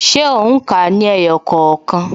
Ṣé o n ka ní ẹyọ kookan?